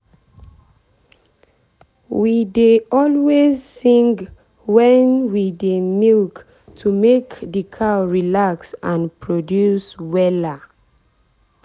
we dey always sing when we dey milk to make the cow relax and produce wella.